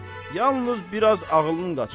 Yalnız bir az ağılın qaçıb.